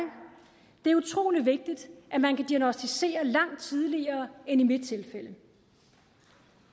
det er utrolig vigtigt at man kan diagnosticere langt tidligere end i mit tilfælde